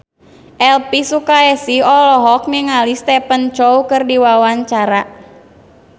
Elvy Sukaesih olohok ningali Stephen Chow keur diwawancara